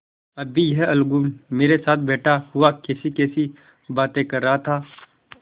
अभी यह अलगू मेरे साथ बैठा हुआ कैसीकैसी बातें कर रहा था